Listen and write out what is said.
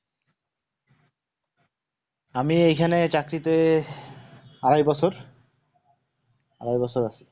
আমি এখানে চাকরিতে আরাই বছর, আরাই বছর আছি।